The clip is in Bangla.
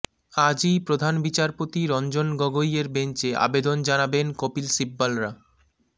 আজই প্রধান বিচারপতি রঞ্জন গগৈয়ের বেঞ্চে আবেদন জানাবেন কপিল সিব্বলরা